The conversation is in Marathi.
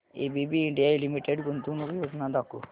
एबीबी इंडिया लिमिटेड गुंतवणूक योजना दाखव